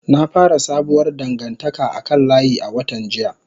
Na fara sabuwar dangantaka a kan layi a watan jiya.